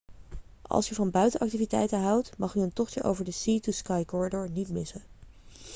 als u van buitenactiviteiten houdt mag u een tochtje over de sea to sky corridor niet missen